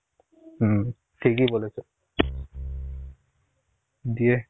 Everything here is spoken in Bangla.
হম ঠিকই বলেছ. দিয়ে